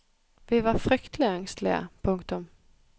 Vi var fryktelig engstelige. punktum